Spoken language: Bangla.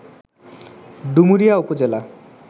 ডুমুরিয়া উপজেলা